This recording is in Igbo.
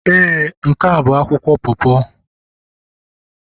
Ee, n'ke a bu akwụkwọ po po.